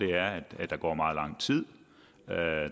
er at der går meget lang tid der er